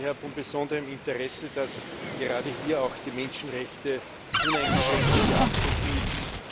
Es ist daher von besonderem Interesse, dass gerade hier auch die Menschenrechte uneingeschränkte Beachtung finden.